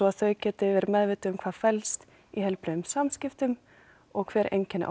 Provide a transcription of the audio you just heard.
að þau geti verið meðvituð um hvað felst í heilbrigðum samskiptum og hver einkenni